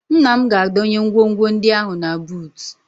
Nna m ga-adọnye ngwongwo ndị ahụ na buutu